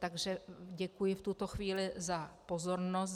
Takže děkuji v tuto chvíli za pozornost.